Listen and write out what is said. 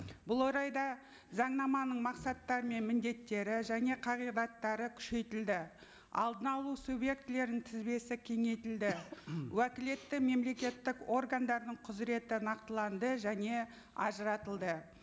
бұл орайда заңнаманың мақсаттары мен міндеттері және қағидаттары күшейтілді алдын алу субъектілерінің тізбесі кеңейтілді уәкілетті мемлекеттік органдардың құзыреті нақтыланды және ажыратылды